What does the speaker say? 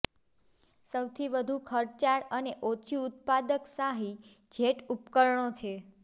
સૌથી વધુ ખર્ચાળ અને ઓછી ઉત્પાદક શાહી જેટ ઉપકરણો છે